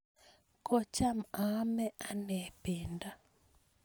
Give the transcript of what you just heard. kocham maame anee pendo